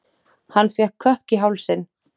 Hann fékk kökk í hálsinn.